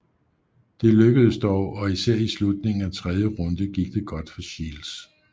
Det lykkedes dog og især i slutningen af tredje runde gik det godt for Shields